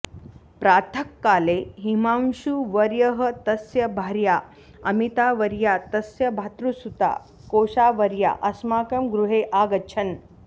प्रातःकाले हिमांशुवर्यः तस्य भार्या अमीतावर्या तस्य भातृसुता कोषावर्या अस्माकं गृहे आगच्छन्